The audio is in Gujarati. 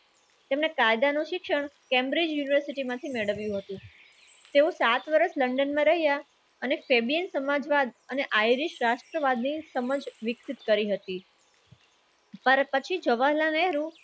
તમે કાયદાનું શિક્ષણ cambridge university માંથી મેળવ્યું હતું. તેવું સાત વર્ષ london રહ્યા અને fabian સમાજવાદ અને આઈડી રાષ્ટ્રવાદની સમજ વિકસિત કરી હતી. અને પછી જવાહરલાલ નેહરુ